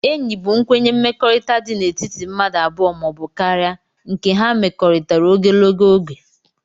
Enyi bu nkwenye mmekọrita di n' etiti mmadu abụọ ma obu karia nke ha mmekọritara ogologo oge